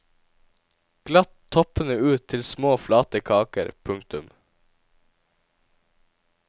Glatt toppene ut til små flate kaker. punktum